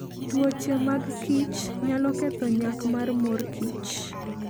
Tuoche mag kichnyalo ketho nyak mar mor kich.